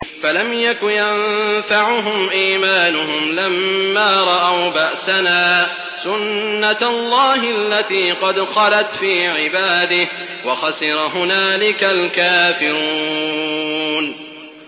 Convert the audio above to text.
فَلَمْ يَكُ يَنفَعُهُمْ إِيمَانُهُمْ لَمَّا رَأَوْا بَأْسَنَا ۖ سُنَّتَ اللَّهِ الَّتِي قَدْ خَلَتْ فِي عِبَادِهِ ۖ وَخَسِرَ هُنَالِكَ الْكَافِرُونَ